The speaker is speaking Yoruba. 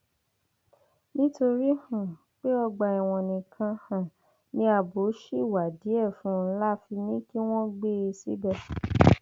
nítorí um pé ọgbà ẹwọn nìkan um ni ààbò ṣì wà díẹ fún un la fi ní kí wọn gbé e síbẹ